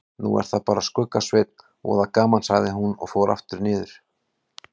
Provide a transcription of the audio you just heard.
Nú er það bara Skugga-Sveinn, voða gaman sagði hún og fór niður aftur.